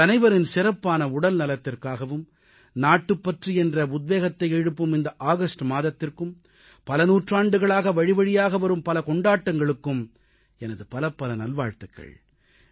உங்கள் அனைவரின் சிறப்பான உடல்நலத்திற்காகவும் நாட்டுப்பற்று என்ற உத்வேகத்தை எழுப்பும் இந்த ஆகஸ்ட் மாதத்திற்கும் பல நூற்றாண்டுகளாக வழிவழியாக வரும் பல கொண்டாட்டங்களுக்கும் எனது பலப்பல நல்வாழ்த்துகள்